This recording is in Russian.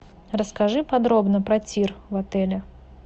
расскажи подробно про тир в отеле